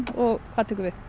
og hvað tekur við